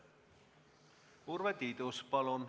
Urve Tiidus, palun!